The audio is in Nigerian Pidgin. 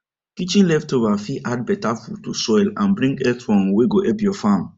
kitchen leftover fit add better food to soil and bring earthworm wey go help your farm